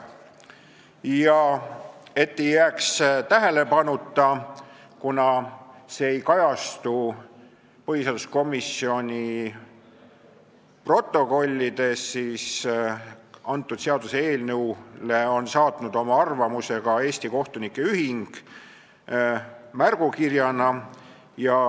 Mainin veel, et see ei jääks tähelepanuta – see ei kajastu põhiseaduskomisjoni protokollides –, et seaduseelnõu kohta on saatnud märgukirjaga oma arvamuse ka Eesti Kohtunike Ühing.